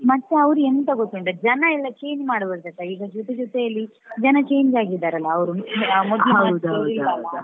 ಮತ್ತೆ ಅವರು ಎಂತ ಗೊತ್ತುಂಟಾ ಜನ ಎಲ್ಲ change ಮಾಡಬಾರ್ದಲ್ಲ ಈಗ ಜೊತೆ ಜೊತೆಯಲಿ ಜನ change ಆಗಿದ್ದಾರೆ ಅವ್ರು.